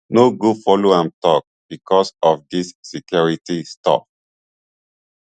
no go follow am tok bicos of dis security stuff